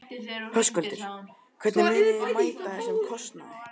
Höskuldur: Hvernig munið þið mæta þessum kostnaði?